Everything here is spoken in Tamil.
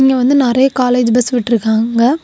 இங்க வந்து நெறைய காலேஜ் பஸ் விட்டுருக்காங்க.